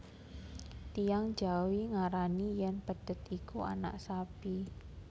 Tiyang jawi ngarani yen pedhet iku anak sapi